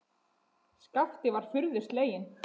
Skapti var furðu sleginn.